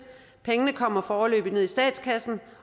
pengene kommer foreløbig ned i statskassen